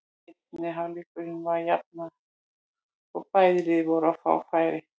Seinni hálfleikurinn var jafnari og bæði lið voru að fá færi.